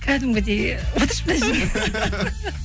кәдімгідей отыршы мына жерге